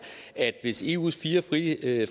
at hvis eus fire friheder